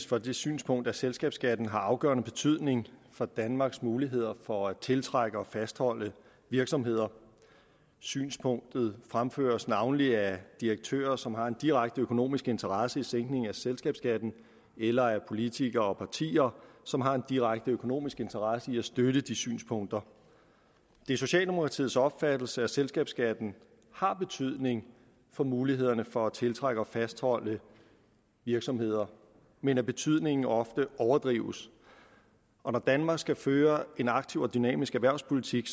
for det synspunkt at selskabsskatten har afgørende betydning for danmarks muligheder for at tiltrække og fastholde virksomheder synspunktet fremføres navnlig af direktører som har en direkte økonomisk interesse i sænkning af selskabsskatten eller af politikere og partier som har en direkte økonomisk interesse i at støtte de synspunkter det er socialdemokratiets opfattelse at selskabsskatten har betydning for mulighederne for at tiltrække og fastholde virksomheder men at betydningen ofte overdrives når danmark skal føre en aktiv og dynamisk erhvervspolitik